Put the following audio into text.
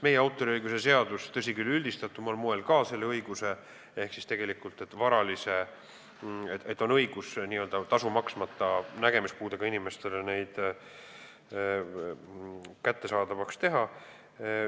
Meie autoriõiguse seaduses, tõsi küll, üldistatumal moel, on kirjas tegelikult ka see, et on õigus nägemispuudega inimestele neid n-ö tasu maksmata kättesaadavaks teha.